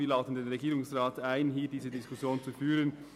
Wir laden den Regierungsrat dazu ein, diese Diskussion zu führen.